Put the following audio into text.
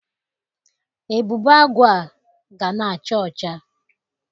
Ebube Agụ a ga na-acha ọcha.